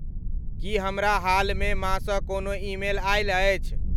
की हमरा हालमे माँ सँ कोनो ईमेल आयल अछि?